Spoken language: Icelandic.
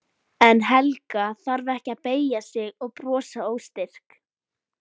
En Helga þarf ekki að beygja sig og brosa óstyrk.